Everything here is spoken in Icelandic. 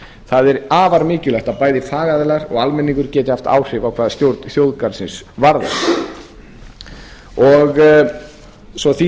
það er afar mikilvægt að bæði fagaðilar og almenningur geti haft áhrif hvað stjórn þjóðgarðsins varðar svo því